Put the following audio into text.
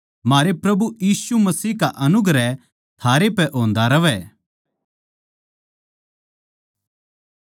म्हारे प्रभु यीशु मसीह का अनुग्रह थारै पै होंदा रहवै